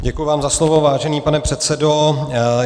Děkuji vám za slovo, vážený pane předsedo.